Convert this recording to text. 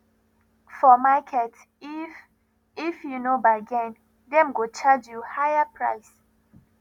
for market if if you no bargain dem go charge you higher price